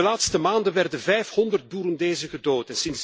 In de laatste maanden werden 500 Burundezen gedood.